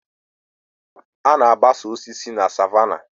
A na-agbasa osisi na savannah